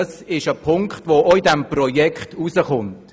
Das ist ein Punkt, der auch in diesem Projekt ersichtlich wird.